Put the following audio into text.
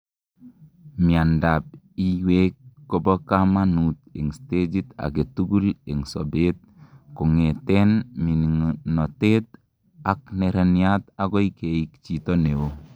miandap iywek kobo kamanut en stagit agetugul en sober kongeten minginotet ak neraniat agoi keik chito neo